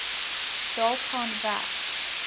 dalk gaan werk